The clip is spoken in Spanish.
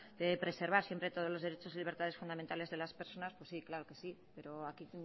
debe preservar siempre todos los derechos y libertades fundamentales de las personas pues sí claro que sí pero aquí